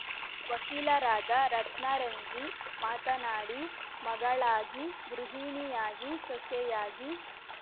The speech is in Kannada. ವಕೀಲರಾದ ರತ್ನರಂಜಿ ಮಾತನಾಡಿ ಮಗಳಾಗಿ ಗೃಹಿಣಿಯಾಗಿ ಸೊಸೆಯಾಗಿ